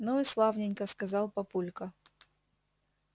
ну и славненько сказал папулька